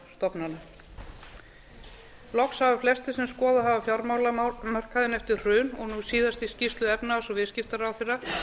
fjármálastofnana loks hafa flestir sem skoðað hafa fjármálamarkaðinn eftir hrun og nú síðast í skýrslu efnahags og viðskiptaráðherra